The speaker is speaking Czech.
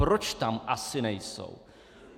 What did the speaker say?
Proč tam asi nejsou?